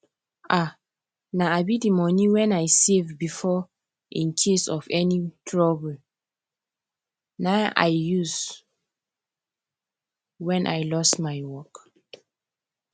um na um the money wen i save before in case of any trouble na i use wen i lost my work